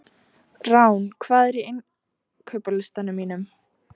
Rán, hvað er á innkaupalistanum mínum?